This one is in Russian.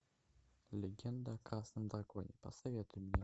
легенда о красном драконе посоветуй мне